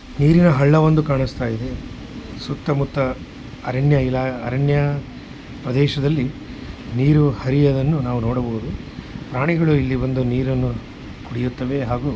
ನೀರಿರುವ ಹಳ್ಳ ಒಂದು ಕಾಣಿಸ್ತಾ ಇದೆ ಸುತ್ತಮುತ್ತ ಅರಣ್ಯ ಪ್ರದೇಶದಲ್ಲಿ ನೀರು ಅರಿಯುವುದನ್ನು ನಾವು ನೋಡಬಹುದು ಪ್ರಾಣಿಗಳು ಬಂದು ಇಲ್ಲಿ ನೀರನ್ನು ಕುಡಿಯುತ್ತವೆ ಹಾಗೂ --